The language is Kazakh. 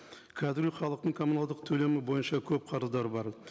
қазіргі халықтың коммуналдық төлемі бойынша көп қарыздары бар